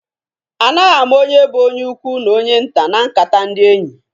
Anaghị ama onye bụ onye ukwu n'onye nta na nkata ndị enyị.